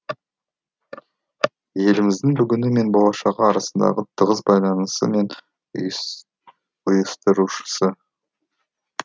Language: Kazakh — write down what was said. еліміздің бүгіні мен болашағы арасындағы тығыз байланысы мен ұйыстырушысы